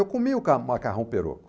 Eu comi o ca o macarrão perocco.